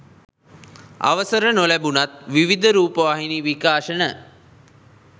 අවසර නොලැබුණත් විවිධ රූපවාහිනි විකාශන